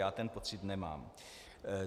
Já ten pocit nemám.